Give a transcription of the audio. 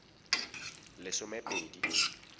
lesomepedi